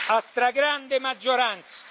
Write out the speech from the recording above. a stragrande maggioranza